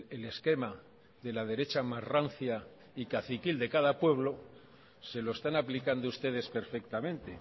el esquema de la derecha más rancia y caciquil de cada pueblo se lo están aplicando ustedes perfectamente